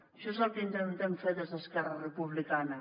això és el que intentem fer des d’esquerra republicana